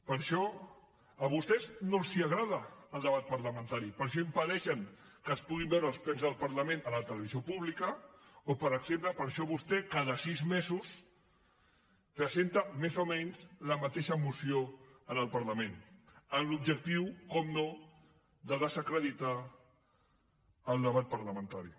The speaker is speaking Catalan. per això a vostès no els agrada el debat parlamentari per això impedeixen que es puguin veure els plens del parlament a la televisió pública o per exemple per això vostè cada sis mesos presenta més o menys la mateixa moció al parlament amb l’objectiu naturalment de desacreditar el debat parlamentari